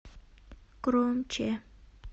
громче